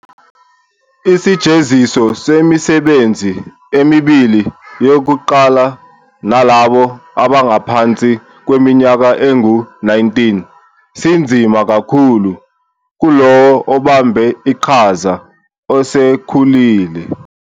Isijeziso semisebenzi emibili yokuqala nalabo abangaphansi kweminyaka engu-19 sinzima kakhulu kulowo obambe iqhaza osekhulile.